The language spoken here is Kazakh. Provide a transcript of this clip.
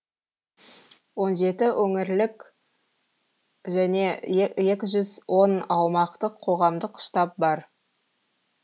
он жеті өңірлік және екі жүз он аумақтық қоғамдық штаб бар